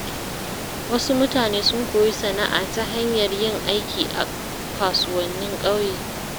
Wasu mutane sun koyi sana’a ta hanyar yin aiki a kasuwannin ƙauye.